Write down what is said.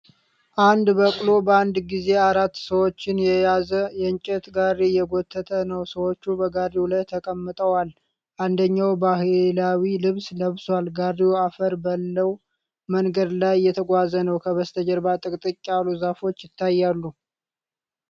አንድ በቅሎ በአንድ ጊዜ አራት ሰዎችን የያዘ የእንጨት ጋሪ እየጎተተ ነው። ሰዎች በጋሪው ላይ ተቀምጠዋል፣ አንደኛው ባህላዊ ልብስ ለብሷል። ጋሪው አፈር ባለው መንገድ ላይ እየተጓዘ ነው። ከበስተጀርባ ጥቅጥቅ ያሉ ዛፎች ይታያሉ።